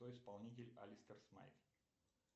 кто исполнитель алистер смайк